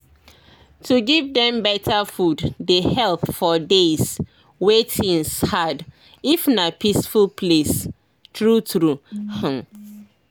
to give dem better food dey help for days wey things hard if na peaceful place true true hmm